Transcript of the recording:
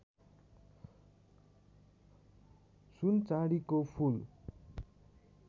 सुन चाँदीको फूल